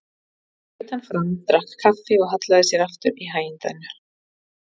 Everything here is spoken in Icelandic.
Svo laut hann fram, drakk kaffi og hallaði sér aftur í hægindinu.